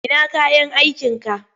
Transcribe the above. Ina kayan aikinka?